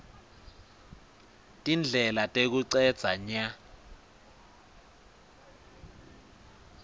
tindlela tekucedza nya